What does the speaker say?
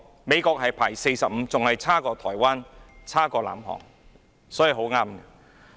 美國排名第四十五位，比台灣、南韓排名更後。